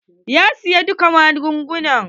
Ya siya dukka magungunan?